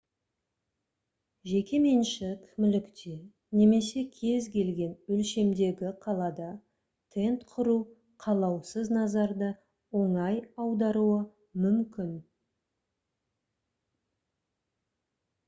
жекеменшік мүлікте немесе кез келген өлшемдегі қалада тент құру қалаусыз назарды оңай аударуы мүмкін